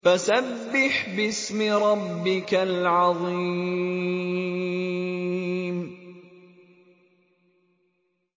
فَسَبِّحْ بِاسْمِ رَبِّكَ الْعَظِيمِ